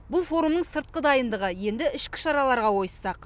бұл форумның сыртқы дайындығы енді ішкі шараларға ойысақ